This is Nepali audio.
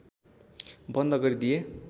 बन्द गरिदिए